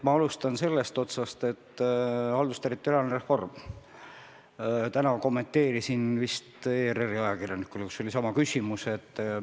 Ma alustan sellest otsast, et täna kommenteerisin seda ERR-i ajakirjanikule, kellel oli sama küsimus.